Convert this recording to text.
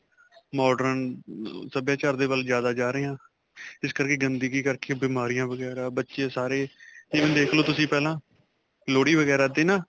modern ਅਅ ਸਭਿਆਚਾਰ ਦੇ ਵੱਲ ਜਿਆਦਾ ਜਾ ਰਹੇ ਹਾਂ, ਇਸ ਕਰਕੇ ਗੰਦਗੀ ਕਰਕੇ ਬੀਮਾਰਿਆ ਵਗੈਰਾ ਬੱਚੇ ਸਾਰੇ ਹੁਣ ਦੇਖ ਲਵੋ ਤੁਸੀਂ ਪਹਿਲਾ ਲੋਹੜੀ ਵਗੈਰਾ 'ਤੇ ਨਾ.